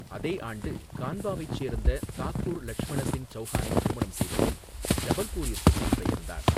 அதே ஆண்டு கான்வாவைச் சோ்ந்த தாக்குர் லட்சுமண சிங் சௌஹானைத் திருமணம் செய்தபின் ஜபல்பூரிற்கு குடிபெயா்ந்தாா்.